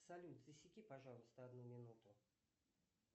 салют засеки пожалуйста одну минуту